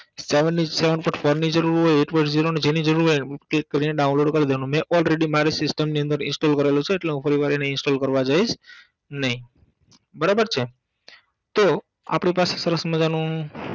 જેની જરૂર હોય કરીને download કરી દેવાનું મે already મારી system ની અંદર install કરેલું છે એટલે હું ફરીવાર એને install કરવા જઈસ નઇ